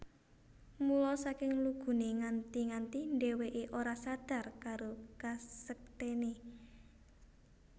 Mula saking luguné nganti nganti dhèwèké ora sadar karo kasektèné